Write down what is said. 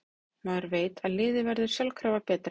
Maður veit að liðið verður sjálfkrafa betra.